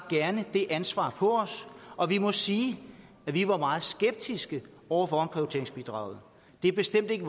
gerne det ansvar og vi må sige at vi var meget skeptiske over for omprioriteringsbidraget det er bestemt ikke